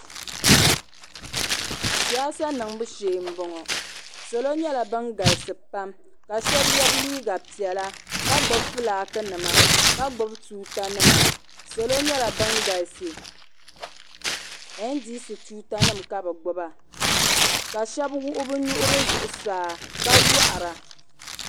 Siyasa niŋbu shɛɛ m boŋɔ salo nyɛla ban galisi pam ka shɛba yɛ liiga pɛla ka gbibi flaaki nima ka gbibi tuuta nima salo nyala ban galisi ɛndisi tuuta nima ka be gbiba ka shɛba wuɣi be nuhi zuɣsaa ka yɔhira